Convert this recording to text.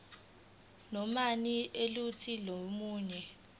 nanoma yiluphi olunye